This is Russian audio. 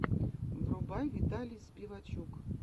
врубай виталий спивачук